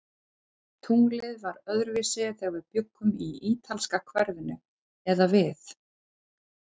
Tunglið var öðruvísi, þegar við bjuggum í ítalska hverfinu eða við